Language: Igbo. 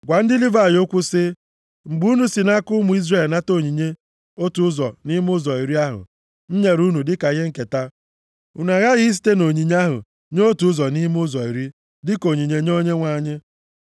“Gwa ndị Livayị okwu sị, ‘Mgbe unu si nʼaka ụmụ Izrel nata onyinye otu ụzọ nʼime ụzọ iri ahụ m nyere unu dịka ihe nketa, unu aghaghị isite nʼonyinye ahụ nye otu ụzọ nʼime ụzọ iri dịka onyinye nye Onyenwe anyị.